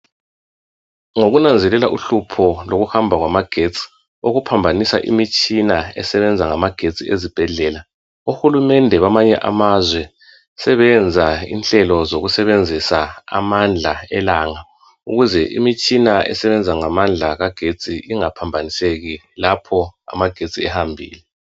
Ngokunazelela uhlupho lokuhamba kwamagetsi , okuphambanisa imitshina esebenza ngamagetsi ezibhedlela. Ohulumende bamanye amazwe sebeyenza inhlelo zokusebenzisa amandla elanga, ukuze imitshina esebenza ngamandla kagetsi ingaphambaniseki lapho amagetsi ehambile.